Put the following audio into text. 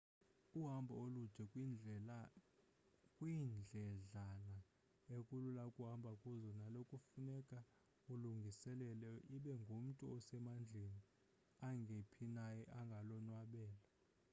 uhambo olude kwiindledlana ekulula ukuhamba kuzo nalo kufuneka ululungiselele ibe umntu osemandleni angephi naye angalonwabela